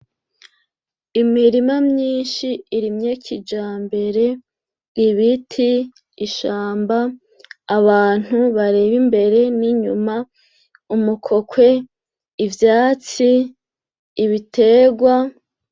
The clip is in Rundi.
Imirima myinshi irimye kijambere ibiti ishamba abantu bareba imbere n'inyuma umukokwe ivyatsi ibitegwa.